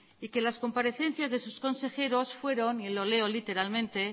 y que las comparecencias de sus consejeros fueron y lo leo literalmente